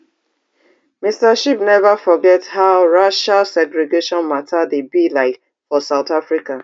mr shibe never forget how racial segregation matter dey be like for south africa